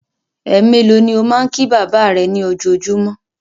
Ẹ mélòó ni ó máa ń kí bàbá rẹ ní ojoojúmọ́?